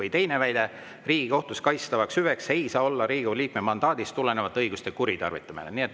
Ja teiseks: Riigikohtus kaitstavaks hüveks ei saa olla Riigikogu liikme mandaadist tulenevate õiguste kuritarvitamine.